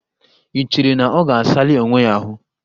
I cheere na ọ ga-asali onwe ya ahụ?